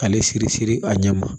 Ale siri siri a ɲɛ ma